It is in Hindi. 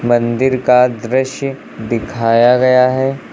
मंदिर का दृश्य दिखाया गया है।